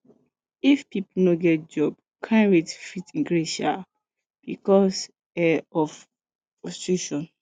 if pipo no get job crime fit increase um because um of frustration